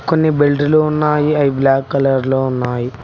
కొన్ని బెల్ట్ లు ఉన్నాయి అవి బ్లాక్ కలర్ లో ఉన్నాయి.